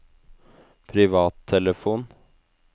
privattelefon